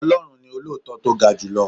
Ọlọ́run ni olóòótọ́ tó ga julọ.